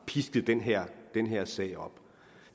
pisket den her sag op